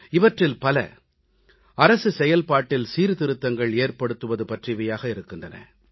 இவற்றில் பல அரசு செயல்பாட்டில் சீர்திருத்தங்கள் ஏற்படுத்துவது பற்றியவையாக இருக்கின்றன